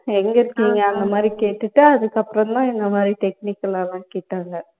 எங்க இருக்கீங்க அந்த மாதிரியெல்லாம் கேட்டுட்டு அதுக்கு அப்பறம் தான் இந்த மாதிரி technical ஆ லாம் கேட்டாங்க